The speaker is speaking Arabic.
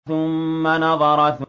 ثُمَّ نَظَرَ